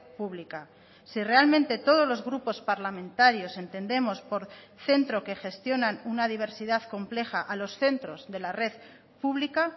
pública si realmente todos los grupos parlamentarios entendemos por centro que gestionan una diversidad compleja a los centros de la red pública